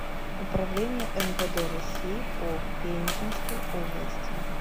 управление мвд россии по пензенской области